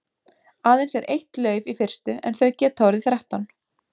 Aðeins er eitt lauf í fyrstu en þau geta orðið þrettán.